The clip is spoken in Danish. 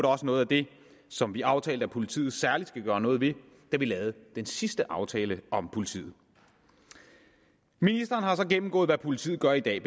også noget af det som vi aftalte at politiet særligt skal gøre noget ved da vi lavede den sidste aftale om politiet ministeren har så gennemgået hvad politiet gør i dag